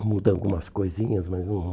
Mudando algumas coisinhas, mas não...